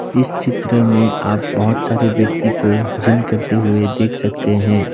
इस चित्र में आप बहुत सारे व्यक्ति को जिम करते हुए देख सकते हैं।